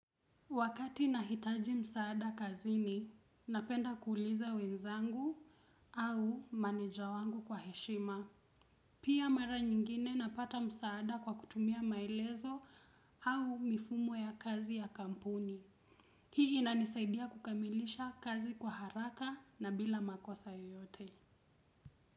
Wakati nahitaji msaada kazini, napenda kuuliza wenzangu au maneja wangu kwa heshima. Pia mara nyingine napata msaada kwa kutumia maelezo au mifumo ya kazi ya kampuni. Hii inanisaidia kukamilisha kazi kwa haraka na bila makosa yoyote.